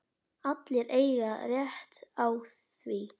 Allir eiga rétt á því.